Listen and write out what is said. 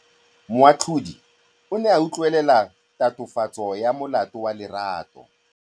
Moatlhodi o ne a utlwelela tatofatsô ya molato wa Lerato.